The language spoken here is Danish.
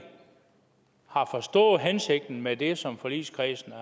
har forstået hensigten med det som forligskredsen